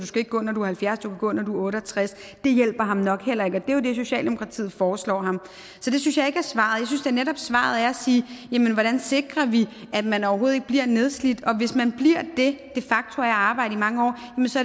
skal gå når du er halvfjerds men du kan gå når du er otte og tres det hjælper ham nok heller ikke er jo det socialdemokratiet foreslår ham det synes jeg ikke er svaret jeg synes netop svaret er at sige hvordan sikrer vi at man overhovedet ikke bliver nedslidt og hvis man bliver det af at arbejde i mange år